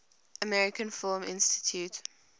american film institute